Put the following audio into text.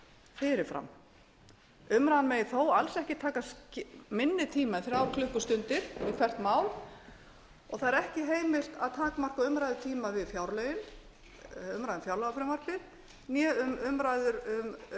fyrir fram umræðan megi þó alls ekki taka minni tíma en þrjár klukkustundir við hvert mál og það er ekki heimilt að takmarka umræðutíma við fjárlögin umræðu um fjárlagafrumvarpið né við umræður